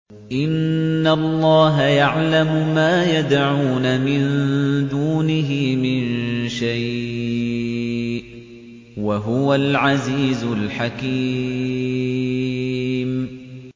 إِنَّ اللَّهَ يَعْلَمُ مَا يَدْعُونَ مِن دُونِهِ مِن شَيْءٍ ۚ وَهُوَ الْعَزِيزُ الْحَكِيمُ